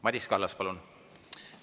Madis Kallas, palun!